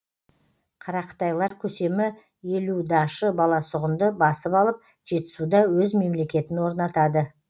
қарақытайлар көсемі елу дашы баласағұнды басып алып жетісуда өз мемлекетін орнатады